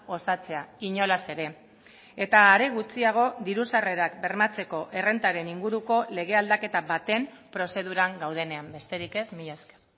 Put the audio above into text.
osatzea inolaz ere eta are gutxiago diru sarrerak bermatzeko errentaren inguruko lege aldaketa baten prozeduran gaudenean besterik ez mila esker